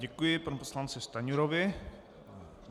Děkuji panu poslanci Stanjurovi.